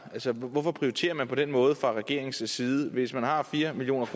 hvorfor prioriterer man på den måde fra regeringens side hvis man har fire million